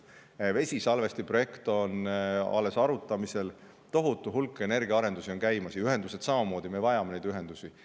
Vesisalvesti projekt on arutamisel, tohutu hulk energiaarendusi on käimas, ja ühendused samamoodi, me vajame neid ühendusi.